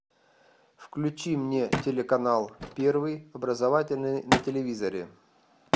включи мне телеканал первый образовательный на телевизоре